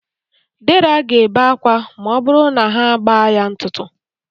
Dera ga-ebe akwa ma ọ bụrụ na ha agba ya ntụtụ.